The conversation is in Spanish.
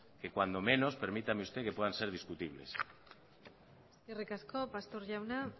que cuando menos permítame usted puedan ser discutibles eskerrik asko pastor jauna